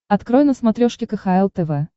открой на смотрешке кхл тв